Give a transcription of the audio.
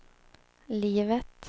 livet